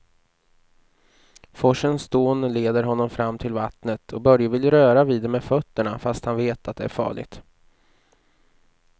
Forsens dån leder honom fram till vattnet och Börje vill röra vid det med fötterna, fast han vet att det är farligt.